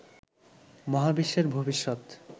মহাবিশ্বের ভবিষ্যৎ